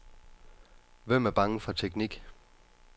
Hvem er bange for teknik?